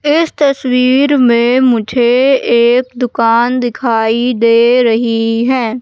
इस तस्वीर में मुझे एक दुकान दिखाई दे रही है।